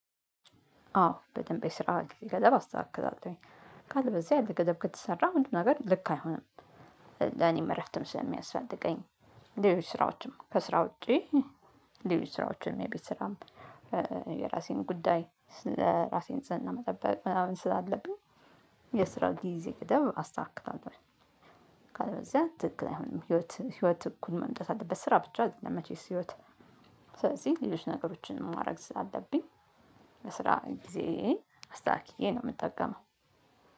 አዎ በደንብ የስራ ጊዜ ገደብ አስተካክላለሁኝ ካለበለዚያ ያለ ገደብ ከተሰራ አንድ ነገር ልክ አይሆንም። ለእኔም እረፍትም ስለሚያስፈልገኝ እንደሌሎች ስራዎችም ከ ስራ ውጪ። ሌሎች ስራዎችን የቤት ስራም የራሴን ጉዳይ ለራሴ ንጽህና መጠበቅ ምናምን ስላለብኝ። የስራ ጊዜ ገደብ አስተካክላለሁኝ። ካለበለዚያ ትክክል አይሆንም ህይወት ህይወት እኩል መምጣት አለበት ስራ ብቻ አይደለም መቼስ ህይወት። ስለዚህ ሌሎች ነገሮችን ማድረግ ስላለብኝ። የስራ ጊዜዬን አስታክዬ ነው የምጠቀመው።